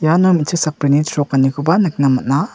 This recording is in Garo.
iano me·chik sakbrini chrokanikoba nikna man·a.